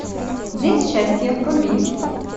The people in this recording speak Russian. день счастья вруби